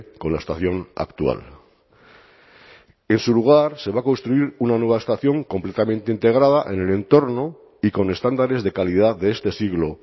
con la estación actual en su lugar se va a construir una nueva estación completamente integrada en el entorno y con estándares de calidad de este siglo